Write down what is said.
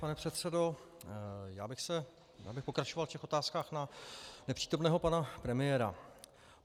Pane předsedo, já bych pokračoval v těch otázkách na nepřítomného pana premiéra.